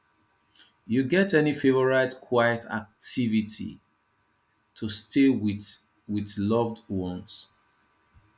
you get any favorite quiet activity to stay with with loved ones